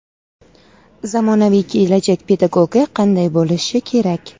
Zamonaviy kelajak pedagogi qanday bo‘lishi kerak?.